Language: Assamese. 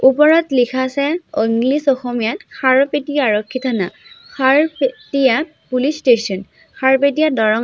ওপৰত লিখা আছে অ ইংলিচ অসমীয়াত খাৰুপেটীয়া আৰক্ষী থানা খাৰুপেটীয়া পুলিচ ষ্টেচন খাৰুপেটীয়া দৰং--